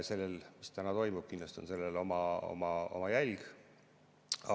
Sellel, mis praegu toimub, kindlasti on oma jälg.